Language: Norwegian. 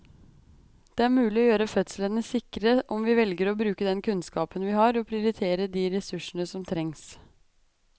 Det er mulig å gjøre fødslene sikre om vi velger å bruke den kunnskapen vi har og prioritere de ressursene som trengs.